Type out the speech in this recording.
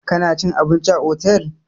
Kana cin abinci a otel!